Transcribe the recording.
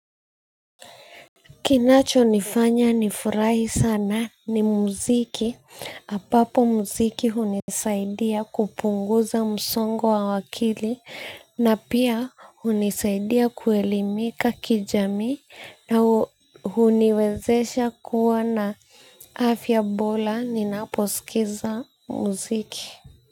Kinacho nifanya nifurahi sana ni muziki, hapapo muziki hunisaidia kupunguza msongo wa wakili na pia hunisaidia kuelimika kijamii na huniwezesha kuwa na afya bola ninaposikiza muziki.